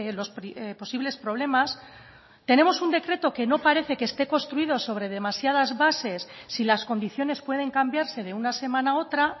los posibles problemas tenemos un decreto que no parece que esté construido sobre demasiadas bases si las condiciones pueden cambiarse de una semana a otra